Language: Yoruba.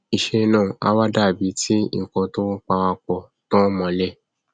iṣẹ náà a wá dàbí ti ikán tọn parapọ tọn mọlé